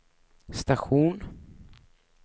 station